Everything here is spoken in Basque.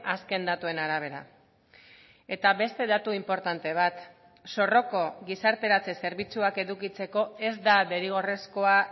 azken datuen arabera eta beste datu inportante bat zorroko gizarteratze zerbitzuak edukitzeko ez da derrigorrezkoa